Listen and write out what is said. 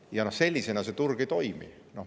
Ja noh, sellisena see turg ei toimi.